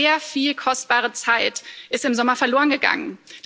Aber sehr viel kostbare Zeit ist im Sommer verloren gegangen.